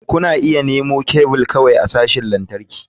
Kuna iya nemo kebul kawai a sashin lantarki.